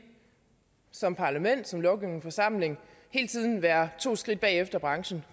som parlament som lovgivende forsamling hele tiden være to skridt efter branchen